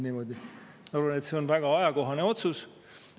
Ma arvan, et see on väga ajakohane otsus.